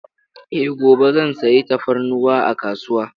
Eh, gobe zan sayi tafarnuwa a kasuwa.